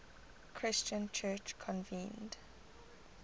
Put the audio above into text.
christian church convened